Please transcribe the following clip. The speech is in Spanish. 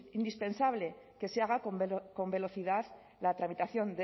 indispensable que se haga con velocidad la tramitación